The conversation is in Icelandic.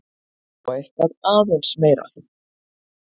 Og eitthvað aðeins meira!